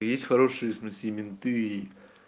есть хорошие в смысле и менты